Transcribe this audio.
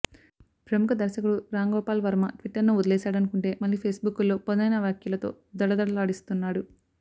ప్రముఖ దర్శకుడు రాంగోపాల్ వర్మ ట్విట్టర్ను వదిలేశాడనుకుంటే మళ్లీ ఫేస్బుక్లో పదునైన వ్యాఖ్యలతో దడదడలాడిస్తున్నాడు